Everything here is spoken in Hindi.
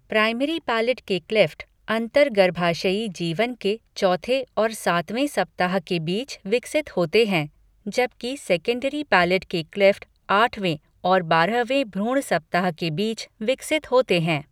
प्राइमरी पैलेट के क्लेफ़्ट अंतर्गर्भाशयी जीवन के चौथे और सातवें सप्ताह के बीच विकसित होते हैं जबिक सेकेंडरी पैलेट के क्लेफ़्ट आठवें और बारहवें भ्रूण सप्ताह के बीच विकसित होते हैं।